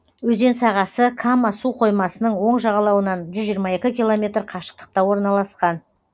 өзен сағасы кама суқоймасының оң жағалауынан жүз жиырма екі километр қашықтықта орналасқан